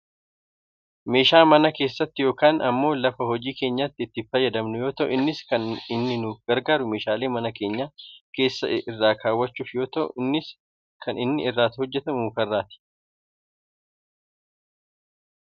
meeshaa mana keessatti yookaan ammoo lafa hojii keenyaatti itti fayyadamnu yoo ta'u innis kan inni nu gargaaru meeshaalee mana keenya keessaa irra kaawwachuuf yoo ta'u innis kan inni irraa hojjatamu muka irraati.